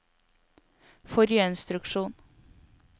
forrige instruksjon